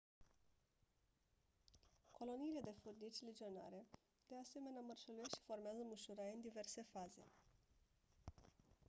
coloniile de furnici legionare de asemenea mărșăluiesc și formează mușuroaie în diverse faze